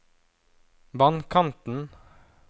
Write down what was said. vannkanten